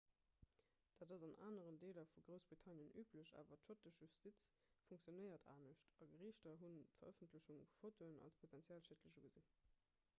dat ass an aneren deeler vu groussbritannien üblech awer d'schottesch justiz funktionéiert anescht a geriichter hunn d'verëffentlechung vu fotoen als potenziell schiedlech ugesinn